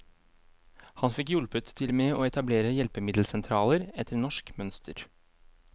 Han fikk hjulpet til med å etablere hjelpemiddelsentraler etter norsk mønster.